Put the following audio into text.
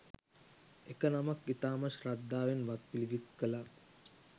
එක නමක් ඉතාමත් ශ්‍රද්ධාවෙන් වත් පිළිවෙත් කළා